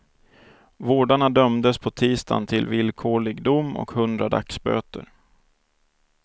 Vårdarna dömdes på tisdagen till villkorlig dom och hundra dagsböter.